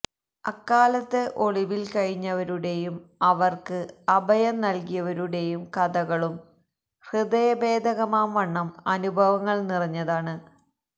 അക്കാലത്ത് ഒളിവില്കഴിഞ്ഞവരുടെയും അവര്ക്ക് അഭയം നല്കിയവരുടെയും കഥകളും ഹൃദയഭേദകമാംവണ്ണം അനുഭവങ്ങള് നിറഞ്ഞതാണ്